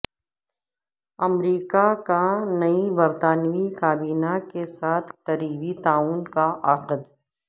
امریکہ کا نئی برطانوی کابینہ کے ساتھ قریبی تعاون کا عہد